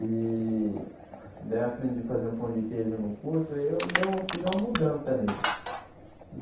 E daí eu aprendi a fazer o pão de queijo no curso e eu daí eu fiz uma mudança nele.